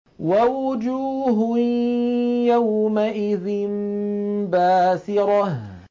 وَوُجُوهٌ يَوْمَئِذٍ بَاسِرَةٌ